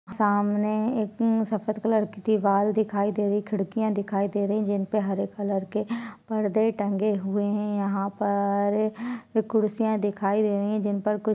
सामने एक सफ़ेद कलर की दीवाल दिखाई दे रही है खिड़कियाँ दिखाई दे रही है जिनपे हरे कलर के परदे टंगे हुए हैं| यहाँ पर कुर्सियां दिखाई दे रही है जिन पर कुछ--